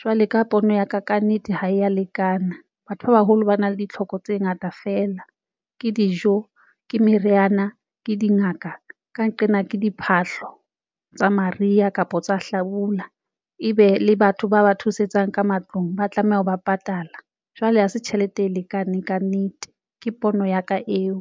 jwale ka pono ya ka, ka nnete ke ha ya lekana. Batho ba baholo ba na le ditlhoko tse ngata feela ke dijo ke meriana ke dingaka. Ka nqena ke diphahlo tsa mariha kapa tsa hlabula e be le batho ba ba thusetsang ka matlung ba tlameha ho ba patala, jwale ha se tjhelete e lekaneng kannete ke pono ya ka eo.